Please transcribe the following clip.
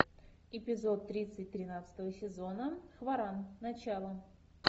эпизод тридцать тринадцатого сезона хваран начало